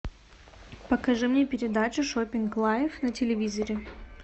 покажи мне передачу шопинг лайф на телевизоре